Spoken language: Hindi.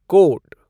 कोट